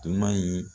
Dunan in